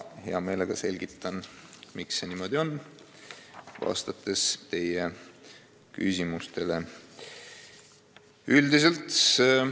Hea meelega selgitan teie küsimustele vastates, miks see niimoodi on.